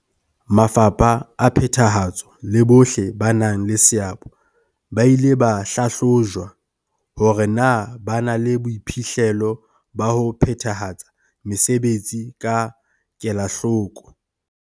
Mafapha a phethahatso le bohle ba nang le seabo ba ile ba hlahlojwa hore na ba na le boiphihlelo ba ho phethahatsa mesebetsi ka kelahloko.